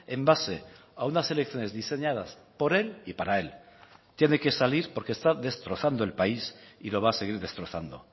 en base a unas elecciones diseñadas por él y para él tiene que salir porque está destrozando el país y lo va a seguir destrozando